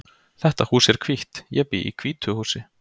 Þetta hús er hvítt. Ég bý í hvítu húsi.